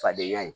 Fadenya ye